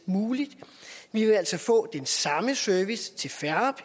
muligt vi vil altså få den samme service til færre